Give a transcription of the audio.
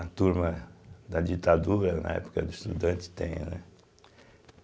A turma da ditadura, na época do estudante, tem, né?